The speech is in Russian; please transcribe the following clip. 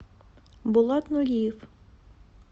булат нуриев